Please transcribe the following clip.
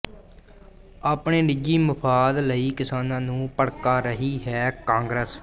ਆਪਣੇ ਨਿੱਜੀ ਮੁਫਾਦ ਲਈ ਕਿਸਾਨਾਂ ਨੂੰ ਭੜਕਾ ਰਹੀ ਹੈ ਕਾਂਗਰਸ